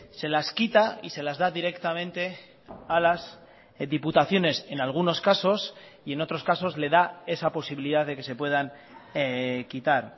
se las quita y se las da directamente a las diputaciones en algunos casos y en otros casos le da esa posibilidad de que se puedan quitar